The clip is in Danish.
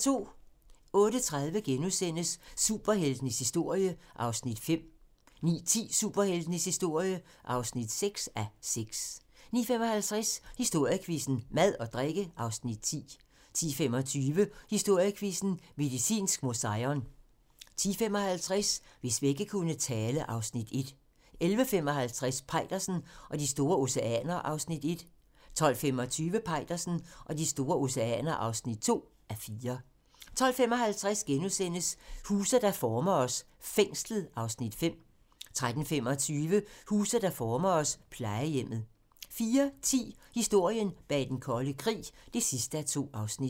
08:30: Superheltenes historie (5:6)* 09:10: Superheltenes historie (6:6) 09:55: Historiequizzen: Mad og drikke (Afs. 10) 10:25: Historiequizzen: Medicinsk Museion 10:55: Hvis vægge kunne tale (Afs. 1) 11:55: Peitersen og de store oceaner (1:4) 12:25: Peitersen og de store oceaner (2:4) 12:55: Huse, der former os: Fængslet (Afs. 5)* 13:25: Huse der former os: Plejehjemmet 14:10: Historien bag den kolde krig (2:2)